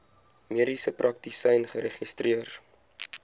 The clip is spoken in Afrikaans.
mediese praktisyn geregistreer